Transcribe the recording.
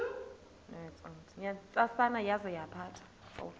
ntsasana yaza yaphatha